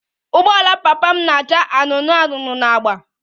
Ụgbọala papa m na-acha anụnụ anụnụ na agba